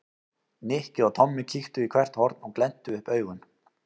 Nikki og Tommi kíktu í hvert horn og glenntu upp augun.